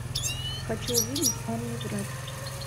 хочу увидеть он не врет